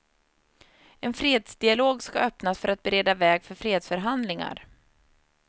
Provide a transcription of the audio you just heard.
En fredsdialog ska öppnas för att bereda väg för fredsförhandlingar.